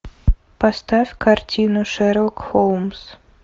поставь картину шерлок холмс